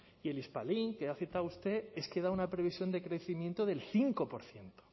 y el hispalink que ha citado usted es que da una previsión de crecimiento del cinco por ciento